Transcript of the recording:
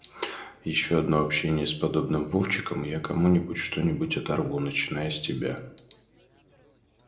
ещё одно общение с подобным вовчиком и я кому-нибудь что-нибудь оторву начиная с тебя